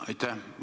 Aitäh!